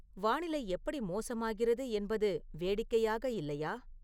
வானிலை எப்படி மோசமாகிறது என்பது வேடிக்கையாக இல்லையா